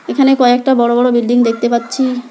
এখানে কয়েকটা বড় বড় বিল্ডিং দেখতে পাচ্ছি।